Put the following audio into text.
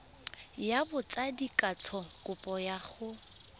ya botsadikatsho kopo ya go